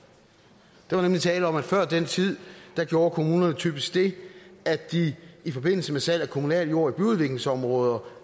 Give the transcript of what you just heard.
der var nemlig tale om at før den tid gjorde kommunerne typisk det at de i forbindelse med salg af kommunal jord i byudviklingsområder